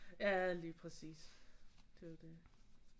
Ja lige præcis det er jo det